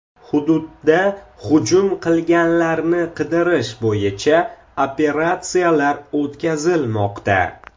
Hududda hujum qilganlarni qidirish bo‘yicha operatsiyalar o‘tkazilmoqda.